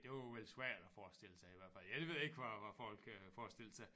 Det var vel svært at forestille sig i hvert fald jeg ved ikke hvad hvad folk øh forestillede sig